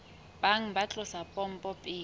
bang ba tlosa pompo pele